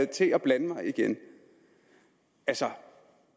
til at blande mig igen altså